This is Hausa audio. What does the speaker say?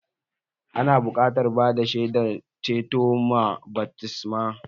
Ana buƙatar bada shaidar ceto ma baftisma